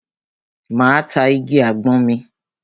Máa ta igi àgbọn mi.